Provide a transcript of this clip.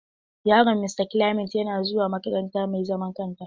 Yaron Mista Clement yana suwa makaranta mai zaman kanta.